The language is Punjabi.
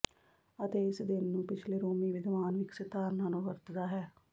ਅਤੇ ਇਸ ਦਿਨ ਨੂੰ ਪਿਛਲੇ ਰੋਮੀ ਵਿਦਵਾਨ ਵਿਕਸਿਤ ਧਾਰਨਾ ਨੂੰ ਵਰਤਦਾ ਹੈ